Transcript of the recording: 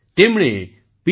તેમણે પી